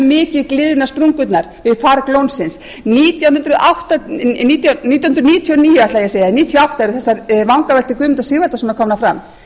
mikið gliðna sprungurnar við farg lónsins nítján hundruð níutíu og níu ætlaði ég að sækja nítján hundruð níutíu og átta eru þessar vangaveltur guðmundar sigvaldasonar komnar fram